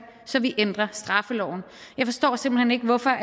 så vi ændrer straffeloven jeg forstår simpelt hen ikke hvorfor